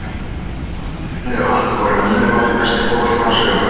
Hann hefur unnið allt og er að mínu mati besti fótboltamaður sögunnar.